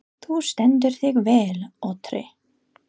Þú stendur þig vel, Otri!